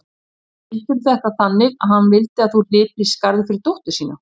Og skildirðu þetta þannig að hann vildi að þú hlypir í skarðið fyrir dóttur þína?